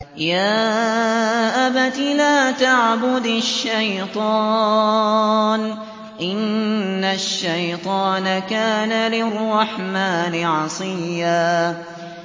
يَا أَبَتِ لَا تَعْبُدِ الشَّيْطَانَ ۖ إِنَّ الشَّيْطَانَ كَانَ لِلرَّحْمَٰنِ عَصِيًّا